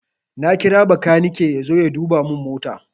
Na kira bakanike yazo ya duba mun mota